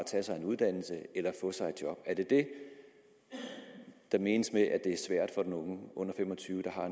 tage sig en uddannelse eller få sig et job er det det der menes med at det er svært for de unge under fem og tyve